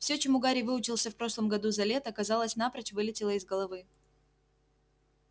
всё чему гарри выучился в прошлом году за лето казалось напрочь вылетело из головы